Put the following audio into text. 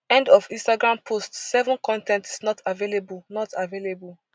end of instagram post seven con ten t is not available not available